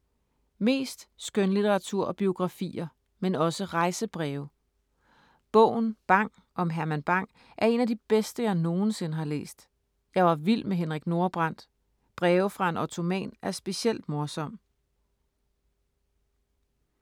Mest skønlitteratur og biografier, men også rejsebreve. Bogen Bang om Herman Bang er en af de bedste, jeg nogensinde har læst. Jeg var vild med Henrik Nordbrandt. Breve fra en Ottoman er specielt morsom.